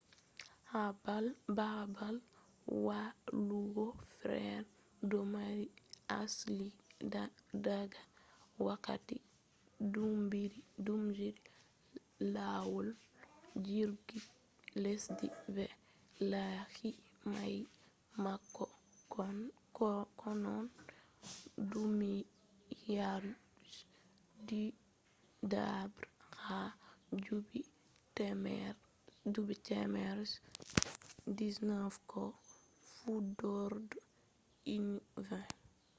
baabal wallugo feere ɗon mari asli daga wakkati duubiji lawol jirki lesdi be layi mayi; bako konno duniyaru je ɗiɗaɓre ha duuɓi temere je 19 ko fuɗɗorde ujenere 20